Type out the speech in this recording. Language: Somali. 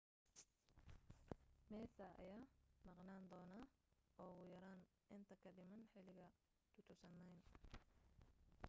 massa ayaa maqnaan doono ugu yaraan inta ka dhiman xiligan 2009